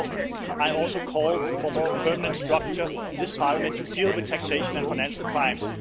Therefore, I also call for a more permanent structure in this Parliament to deal with taxation and financial crimes.